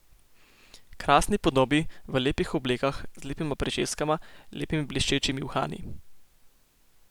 Krasni podobi, v lepih oblekah, z lepima pričeskama, lepimi bleščečimi uhani.